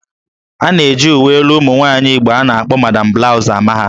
A na-eji uwe elu ụmụ nwaanyị Igbo a na-akpọ 'Madam Blouse'' ama ha